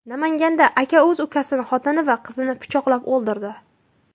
Namanganda aka o‘z ukasining xotini va qizini pichoqlab o‘ldirdi .